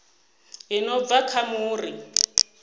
i no bva kha muri